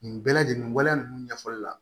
Nin bɛɛ lajɛlen waleya ninnu ɲɛfɔli la